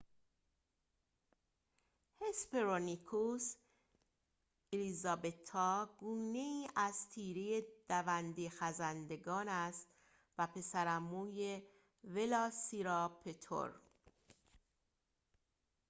هسپرونیکوس الیزابتا گونه‌ای از تیره دونده‌خزندگان است و پسرعموی ولاسیراپتور است